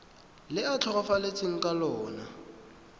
le a tlhokafetseng ka lona